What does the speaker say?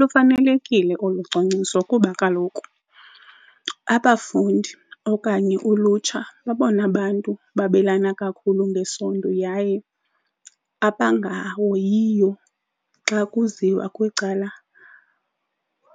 Lufanelekile olu cwangciso kuba kaloku abafundi okanye ulutsha ngabona bantu babelana kakhulu ngesondo yaye abangahoyiyo xa kuziwa kwicala